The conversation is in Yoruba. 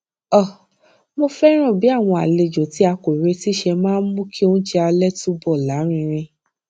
um mo féràn bí àwọn àlejò tí a kò retí ṣe máa ń mú kí oúnjẹ alé túbò lárinrin